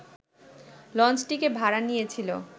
লঞ্চটিকে ভাড়া নিয়েছিল